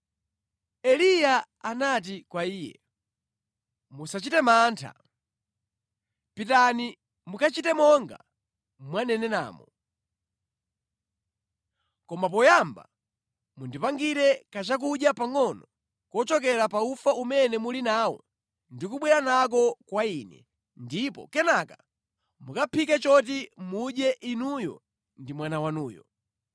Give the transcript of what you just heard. Eliya anati kwa iye, “Musachite mantha. Pitani mukachite monga mwaneneramo. Koma poyamba mundipangire kachakudya pangʼono kuchokera pa ufa umene muli nawo ndi kubwera nako kwa ine, ndipo kenaka mukaphike choti mudye inuyo ndi mwana wanuyo.